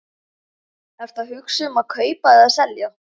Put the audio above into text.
Ertu að hugsa um að kaupa eða selja?